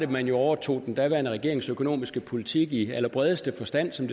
man overtog den daværende regerings økonomiske politik i allerbredeste forstand som